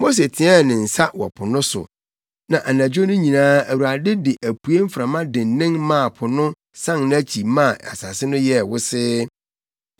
Mose teɛɛ ne nsa wɔ po no so, na anadwo no nyinaa Awurade de apuei mframa dennen maa po no san nʼakyi maa asase no yɛɛ wosee.